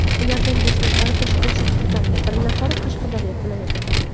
Ulardan besh nafari Toshkent shahridan, bir nafari Qashqadaryo viloyatidan.